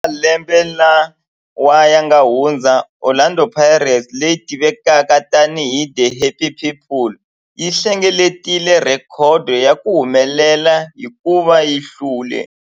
Eka malembe lawa yanga hundza, Orlando Pirates, leyi tivekaka tani hi 'The Happy People', yi hlengeletile rhekhodo ya ku humelela hikuva yi hlule